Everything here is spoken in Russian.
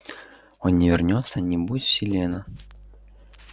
он не вернётся не будет селена